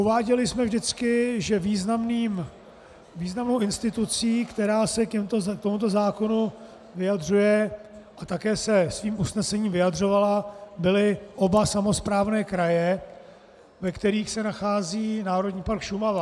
Uváděli jsme vždycky, že významnou institucí, která se k tomuto zákonu vyjadřuje a také se svým usnesením vyjadřovala, byly oba samosprávné kraje, ve kterých se nachází Národní park Šumava.